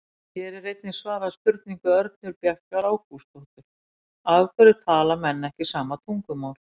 Hér er einnig svarað spurningu Örnu Bjargar Ágústsdóttur: Af hverju tala menn ekki sama tungumál?